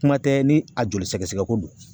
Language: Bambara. Kuma tɛ ni a joli sɛgɛsɛgɛ ko don.